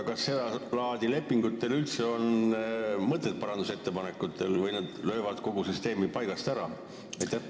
Kas seda laadi lepingute puhul on üldse parandusettepanekutel mõtet või nad lööksid kogu süsteemi paigast ära?